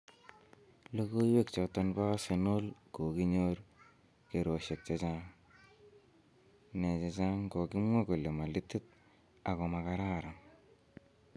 Logoywek choton bo Arsenal koginyor kerosiek che chang, ne chechang kogimwa kole malititit ak ko ma kararan